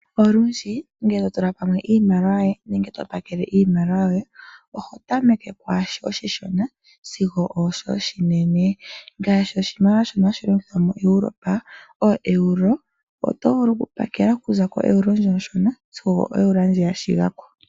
Olundji ngele to tula pamwe iimaliwa yoye nenge to pakele iimaliwa yoye oho tameke kwaashi oshishona sigo ooshoka oshinene , ngaashi oshimaliwa shono hashi longithwa moEuropa ooEuro oto vulu okupakela okuza koEuro ndjono onshona sigo oEuro ndji ya shiga ko.